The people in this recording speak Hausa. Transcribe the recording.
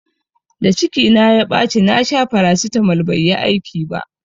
Da ciki na ya ɓaci na sha farasitamol bai yi aiki ba